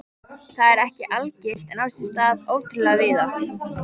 Þetta er ekki algilt en á sér stað ótrúlega víða.